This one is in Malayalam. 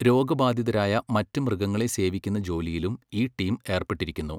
രോഗബാധിതരായ മറ്റ് മൃഗങ്ങളെ സേവിക്കുന്ന ജോലിയിലും ഈ ടീം ഏർപ്പെട്ടിരിക്കുന്നു.